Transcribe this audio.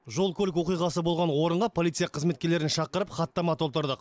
жол көлік оқиғасы болған орынға полиция қызметкерлерін шақырып хаттама толтырдық